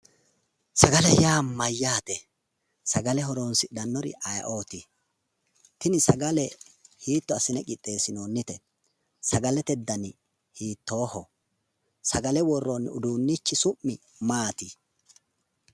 Sagale yaa mayyaate? sagale horoonsidhannori ayeeooti? tini sagale hiitto assine qixxeessinoonnite? sagalete dani hiittooho? sagale worroonni uduunnichi su'mi maati?